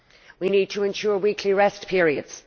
We need to ensure weekly rest periods.